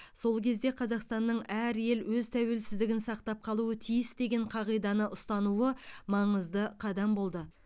сол кезде қазақстанның әр ел өз тәуелсіздігін сақтап қалу тиіс деген қағиданы ұстануы маңызды қадам болды